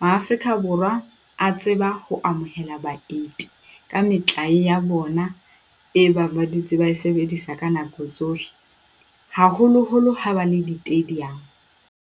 Maafrika Borwa a tseba ho amohela baeti ka metlae ya bona e bang ba dutse ba e sebedisa ka nako tsohle, haholoholo ha ba le di-tadium.